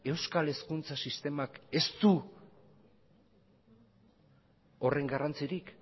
euskal hezkuntza sistemak ez du horren garrantzirik